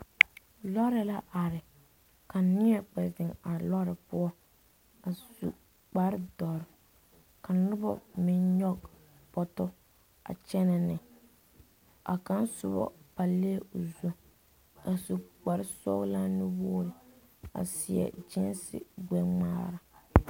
Loori la are ka neɛ kpɛ zeŋ a loori poɔ a su kpare dɔre ka noba meŋ nyɔge boto kyɛnɛ ne a kaŋa soba pallɛɛ la o zu a su kpare sɔglaa nuwogi a seɛ gyeese gbɛŋmaara.